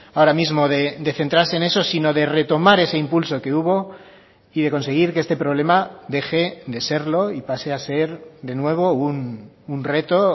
ahora mismo de centrarse en eso sino de retomar ese impulso que hubo y de conseguir que este problema deje de serlo y pase a ser de nuevo un reto